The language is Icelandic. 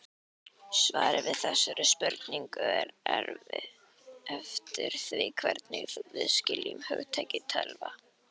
Svarið við þessari spurningu fer eftir því hvernig við skiljum hugtakið tölva.